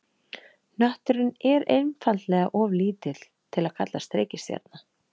Hnötturinn er einfaldlega of lítill til að kallast reikistjarna.